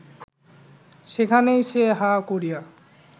সেখানেই সে হাঁ করিয়া